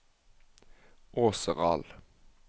Åseral